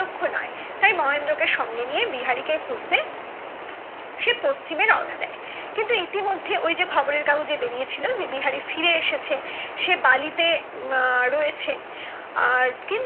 লক্ষ নয় তাই মহেন্দ্র কে সঙ্গে নিয়ে বিহারি কে খুঁজতে সে পশ্চিমে রওনা দেয় কিন্তু ইতিমধ্যে ওই যে খবরের কাগজে বেরিয়েছিল যে বিহারি ফিরে এসেছে সে বালিতে উম রয়েছে আর